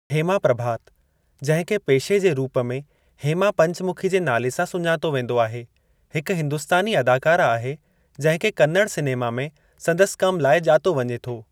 हेमा प्रभात, जंहिं खे पेशे जे रूप में हेमा पंचमुखी जे नाले सां सुञातो वेंदो आहे, हिकु हिंदुस्तानी अदाकारा आहे जंहिं खे कन्नड़ सिनेमा में संदसि कम लाइ ॼातो वञे थो।